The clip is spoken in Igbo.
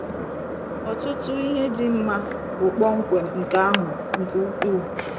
Ọtụtụ ihe dị mma bụ kpọmkwem nke ahụ - nke ukwuu.